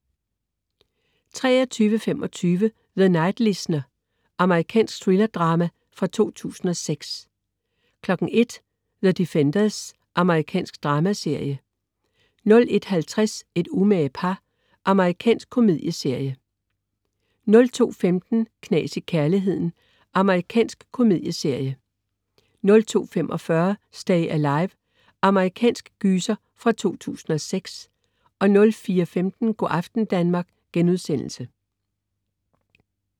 23.25 The Night Listener. Amerikansk thriller-drama fra 2006 01.00 The Defenders. Amerikansk dramaserie 01.50 Et umage par. Amerikansk komedieserie 02.15 Knas i kærligheden. Amerikansk komedieserie 02.45 Stay Alive. Amerikansk gyser fra 2006 04.15 Go' aften Danmark*